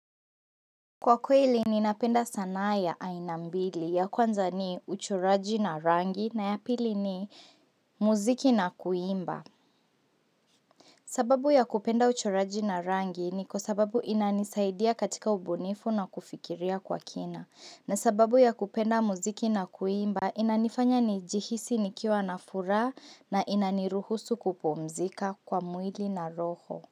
Kwa kweli ninapenda sanaa ya aina mbili ya kwanza ni uchoraji na rangi na ya pili ni muziki na kuimba. Sababu ya kupenda uchoraji na rangi ni kwa sababu inanisaidia katika ubunifu na kufikiria kwa kina. Na sababu ya kupenda muziki na kuimba inanifanya nijihisi nikiwa na furaha na inaniruhusu kupumzika kwa mwili na roho.